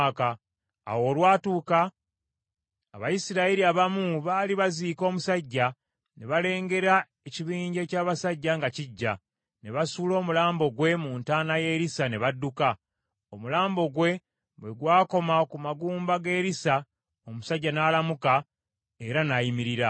Awo olwatuuka, Abayisirayiri abamu baali baziika omusajja, ne balengera ekibinja eky’abasajja nga kijja, ne basuula omulambo gwe mu ntaana ya Erisa ne badduka. Omulambo gwe bwe gw’akoma ku magumba ga Erisa omusajja n’alamuka, era n’ayimirira.